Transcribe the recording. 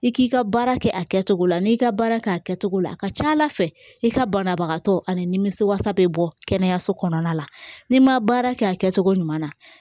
I k'i ka baara kɛ a kɛcogo la n'i ka baara kɛ a kɛcogo la ka ca ala fɛ i ka banabagatɔ animisiwasa bɛ bɔ kɛnɛyaso kɔnɔna la n'i ma baara kɛ a kɛcogo ɲuman na